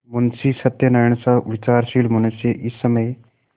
मुंशी सत्यनारायणसा विचारशील मनुष्य इस समय